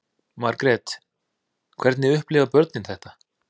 Margrét: Hvernig upplifa börnin þetta?